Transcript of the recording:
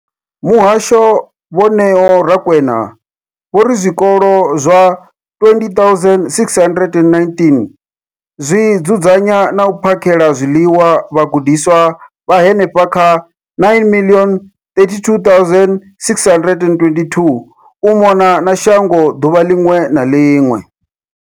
Muhasho, Vho Neo Rakwena, vho ri zwikolo zwa 20 619 zwi dzudzanya na u phakhela zwiḽiwa vhagudiswa vha henefha kha 9 032 622 u mona na shango ḓuvha ḽiṅwe na ḽiṅwe.